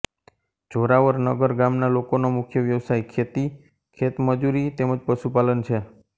જોરાવરનગર ગામના લોકોનો મુખ્ય વ્યવસાય ખેતી ખેતમજૂરી તેમ જ પશુપાલન છે